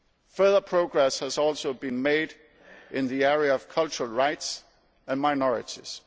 Further progress has also been made in the area of cultural rights and minorities.